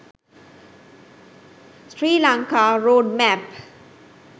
sri lanka road map